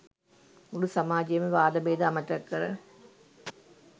මුළු සමාජයම වාද භේද අමතක කර